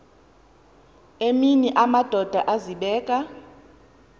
emini amadoda azibeka